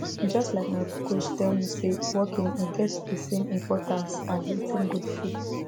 just like my coach tell me say walking e get the same importance as eating good food